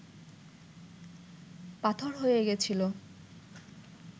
পাথর হয়ে গেছিল